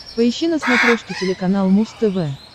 поищи на смотрешке телеканал муз тв